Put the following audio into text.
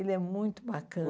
Ele é muito bacana.